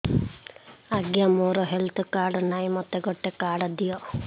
ଆଜ୍ଞା ମୋର health card ନାହିଁ ମୋତେ ଗୋଟେ କାର୍ଡ ଦିଅ